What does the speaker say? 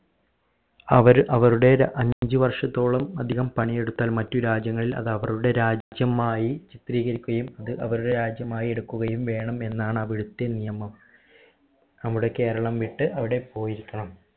അവർ അവരുടെ അഞ്ച് വർഷത്തോളം അധികം പണി എടുത്താൽ മറ്റു രാജ്യങ്ങളിൽ അത് അവരുടെ രാജ്യമായി ചിത്രീകരിക്കുകയും അത് അവരുടെ രാജ്യമായി എടുക്കുകയും വേണം എന്നാണ് അവിടുത്തെ നിയമം നമ്മുടെ കേരളം വിട്ട് അവിടെ പോയിരിക്കണം